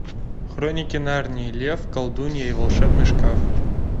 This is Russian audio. хроники нарнии лев колдунья и волшебный шкаф